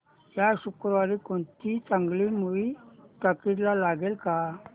या शुक्रवारी कोणती चांगली मूवी टॉकीझ ला लागेल का